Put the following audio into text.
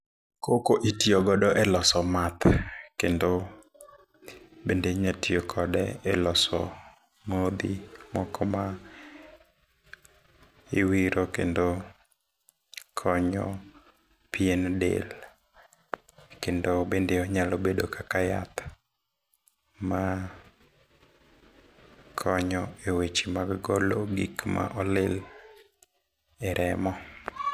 Cocoa itiyogodo e loso math, kendo, bende inyalo tiyo kode e loso modhi moko ma iwiro kendo konyo pien del .Kendo bende onyalo bedo kaka yath ma konyo e weche mag golo gik ma olil e remo.